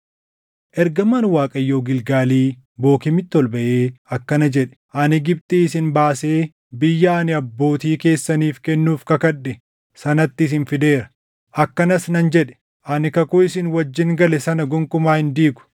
Ergamaan Waaqayyoo Gilgaalii Bookiimitti ol baʼee akkana jedhe; “Ani Gibxii isin baasee biyya ani abbootii keessaniif kennuuf kakadhe sanatti isin fideera. Akkanas nan jedhe; ‘Ani kakuu isin wajjin gale sana gonkumaa hin diigu;